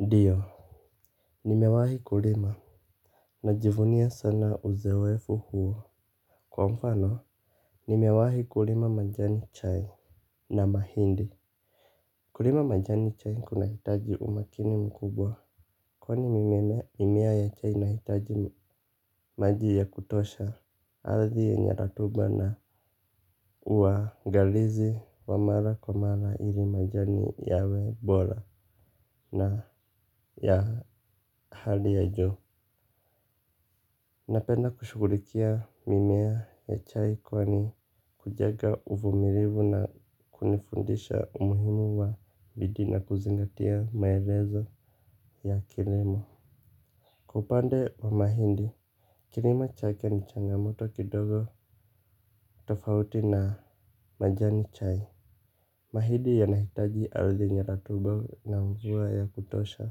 Ndiyo. Nimewahi kulima najivunia sana uzoefu huo kwa mfano nimewahi kulima majani chai na mahindi. Kulima majani chai kuna hitaji umakini mkubwa kwani mimea ya chai na ihitaji maji ya kutosha. Ardhi yenye rotuba na uangalizi wa mara kwa mara ili majani yawe bora. Na ya hali ya juu napenda kushughulikia mimea ya chai kwani kujenga uvumilivu na kunifundisha umuhimu wa bidii na kuzingatia maelezo ya kilimo. Upande wa mahindi kilimo chake ni changamoto kidogo tofauti na majani chai. Mahidi yanahitaji ardhi yenye rotuba na mvua ya kutosha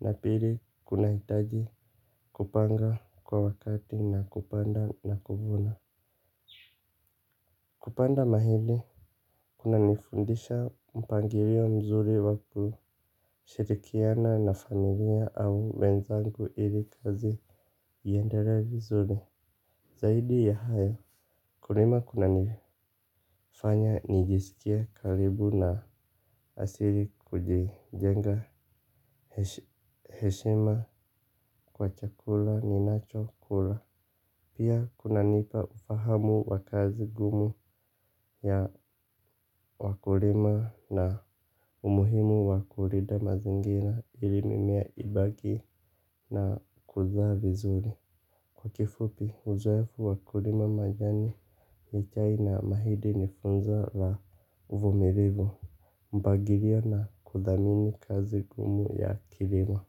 na pili kunahitaji kupanga kwa wakati na kupanda na kuvuna. Kupanda mahindi, kuna nifundisha mpangilio mzuri waku shirikiana na familia au wenzangu ili kazi iendelee vizuri. Zaidi ya hayo, kulima kuna nifanya nijisikia karibu na asili kujijenga. Heshima kwa chakula ni nacho kula. Pia kuna nipa ufahamu wa kazi ngumu ya wakulima na umuhimu wa kulinda mazingira ili mimea ibaki na kuzaa vizuri. Kwa kifupi, uzoefu wa kulima majani ni chai na mahidi ni funzo na uvumilivu. Mpagilio na kudhamini kazi ngumu ya kilimo.